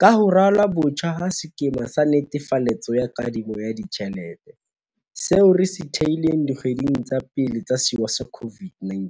Ka ho ralwa botjha ha sekema sa netefaletso ya kadimo ya ditjhelete, seo re se thehileng dikgweding tsa pele tsa sewa sa COVID-19,